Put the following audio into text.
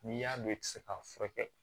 N'i y'a dɔn i tɛ se k'a furakɛ